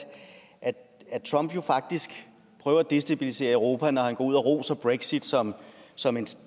trump jo faktisk prøver at destabilisere europa når han går ud og roser brexit som som en